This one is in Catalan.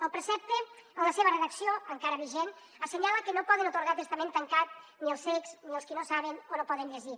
el precepte la seva redacció encara vigent assenyala que no poden atorgar testament tancat ni els cecs ni els que no saben o no poden llegir